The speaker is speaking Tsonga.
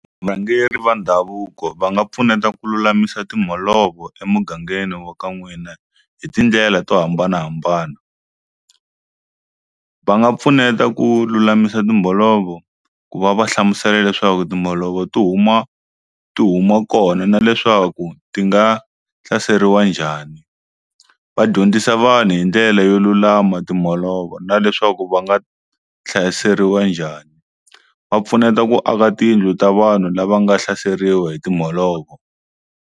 va ndhavuko va nga pfuneta ku lulamisa timholovo emugangeni wa ka n'wina hi tindlela to hambanahambana, va nga pfuneta ku lulamisa timholovo ku va va hlamusela leswaku timholovo ti huma ti huma kona na leswaku ti nga hlaseriwa njhani va dyondzisa vanhu hi ndlele yo lulama timholovo na leswaku va nga hlayiseriwa njhani va pfuneta ku aka tiyindlu ta vanhu lava nga hlahleriwa hi timholovo.